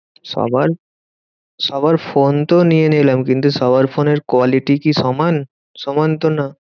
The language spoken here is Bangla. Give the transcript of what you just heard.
সবার সবার ফোন তো নিয়ে নিলাম, কিন্তু সবার ফোনের quality কি সমান? সমান তো না।